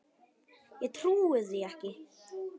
Ég trúi því ekki.